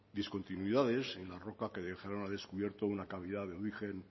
discontinuidades y una roca que deja al descubierto una calidad de origen